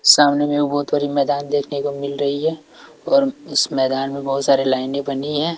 सामने में एक बहुत बड़ी मैदान देखने को मिल रही है और उस मैदान में बहुत सारे लाइनें बनी हैं।